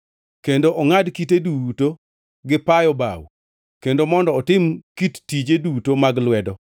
kendo ongʼad kite duto gi payo bao kendo mondo otim kit tije, duto mag lwedo.